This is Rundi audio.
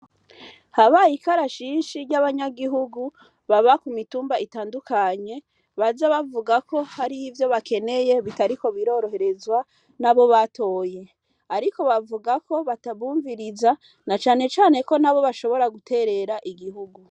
Habaye ikarashishi ry'abanyagihugu, baba ku mitumba itandukanye, baza bavuga ko hari ivyo bakeneye bitariko biroroherezwa n'abo batoye. Ariko bakavuga ko batabumviriza, na cane cane ko na bo bashobora guterera igihugu.